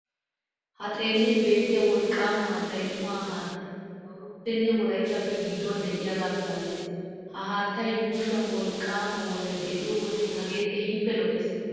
Ha xeellin beettiya wolqqaama haattay umaa haattaa Dawuroppenne Wolayttappe gidduwan de'iyagaa milatees. Ha haattaa yuushuwan wolqqaama woray de'iyo wode hagee keehippe lo"ees.